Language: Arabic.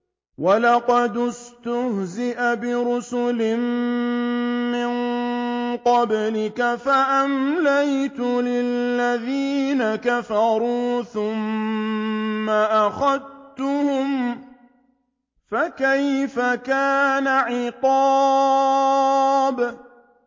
وَلَقَدِ اسْتُهْزِئَ بِرُسُلٍ مِّن قَبْلِكَ فَأَمْلَيْتُ لِلَّذِينَ كَفَرُوا ثُمَّ أَخَذْتُهُمْ ۖ فَكَيْفَ كَانَ عِقَابِ